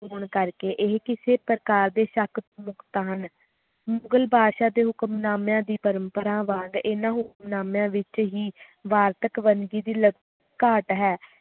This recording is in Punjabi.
ਹੋਣ ਕਰਕੇ ਇਹ ਕਿਸੇ ਪ੍ਰਕਾਰ ਦੇ ਮੁਗਲ ਬਾਦਸ਼ਾਹ ਦੀ ਪਰੰਪਰਾ ਵਾਂਗ ਹਨ ਹੁਕਮਨਾਮਿਆਂ ਵਿਚ ਵਾਰਤਕ ਦੀ ਘਾਟ ਹੈ